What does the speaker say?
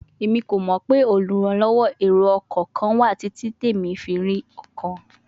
Emi ko mọ pe oluranlọwọ ero-ọkọ kan wa titi emi o fi ri ọkan